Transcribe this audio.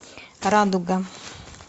радуга